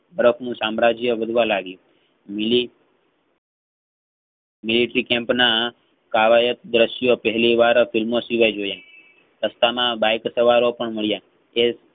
બરફનું સામ્રાજ્ય ઉડવા લાવી મિલી military camp ના આવા એક દરશ્ય પહેલીવા film સિવાય જોયા રસ્તામાં bike સવારો પણ માળીયા તેજ